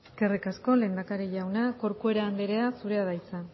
eskerrik asko lehendakari jauna corcuera andrea zurea da hitza